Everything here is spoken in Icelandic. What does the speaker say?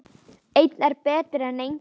Einn er betri en enginn!